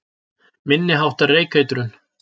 Minni háttar reykeitrun